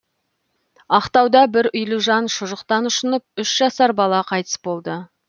ақтауда бір үйлі жан шұжықтан ұшынып үш жасар бала қайтыс болды